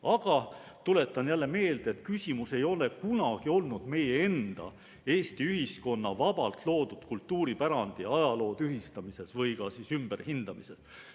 Aga tuletan jälle meelde, et küsimus ei ole kunagi olnud meie enda, Eesti ühiskonna vabalt loodud kultuuripärandi ja ajaloo tühistamises või ümberhindamises.